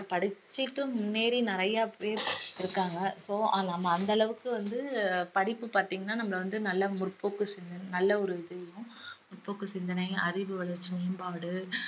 படிச்சிட்டு முன்னேறி நிறைய பேர் இருக்காங்க இப்போ ஆ~ நம்ம அந்த அளவுக்கு வந்து படிப்பு பாத்தீங்கன்னா நம்மள வந்து நல்ல முற்போக்கு சிந்தனை நல்ல ஒரு இதயும் முற்போக்கு சிந்தனை அறிவு வளர்ச்சி மேம்பாடு